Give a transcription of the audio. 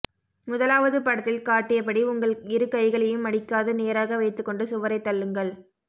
முதலாவது படத்தில் காட்டியபடி உங்கள் இரு கைகளையும் மடிக்காது நேராக வைத்துக் கொண்டு சுவரைத் தள்ளுங்கள்